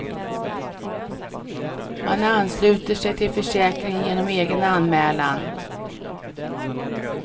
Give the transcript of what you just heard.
Man ansluter sig till försäkringen genom egen anmälan.